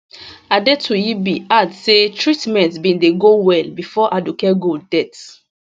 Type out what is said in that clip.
adetuyibi add say treatment bin dey go well bifor aduke gold death